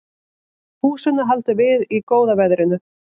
Húsinu haldið við í góða veðrinu